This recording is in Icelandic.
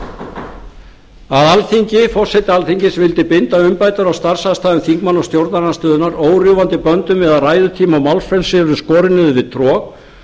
var ljóst að forseti alþingis vildi binda umbætur á starfsaðstæðum þingmanna og stjórnarandstöðunnar órjúfandi böndum við að ræðutími og málfrelsi yrðu skorin niður við trog